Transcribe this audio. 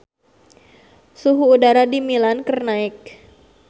Suhu udara di Milan keur naek